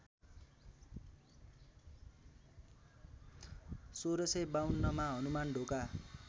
१६५२ मा हनुमानढोका